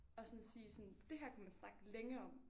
Og sådan sige sådan det her kunne man snakke længe om